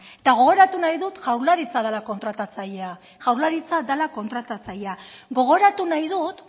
eta gogoratu nahi dut jaurlaritza dela kontratatzailea jaurlaritza dela kontratatzailea gogoratu nahi dut